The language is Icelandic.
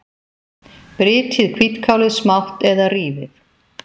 Brytjið hvítkálið smátt eða rífið.